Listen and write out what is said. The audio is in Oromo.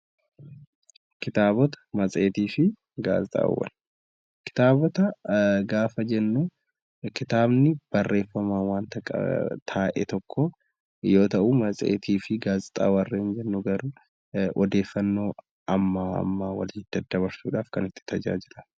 Ktaabota gaafa jennu kitaabni barreeffama wanta taa'ee tokoo yoo ta'u, matseetii fi gaazexaa warreen jennu garuu odeeffannoo amma ammaa walitti daddabarsuuf kan itti tajaajilamudha.